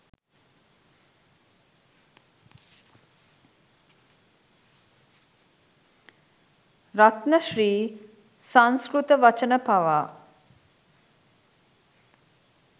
රත්න ශ්‍ර්‍රී සංස්කෘත වචන පවා